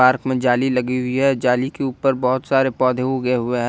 Park में जाली लगी हुई है जाली के ऊपर बहुत सारे पौधे उगे हुए हैं।